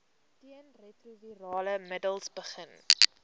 teenretrovirale middels begin